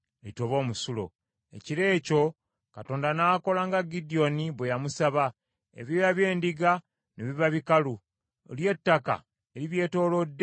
Ekiro ekyo Katonda n’akola nga Gidyoni bwe yamusaba, ebyoya by’endiga ne biba bikalu, lyo ettaka eribyetoolodde ne litoba omusulo.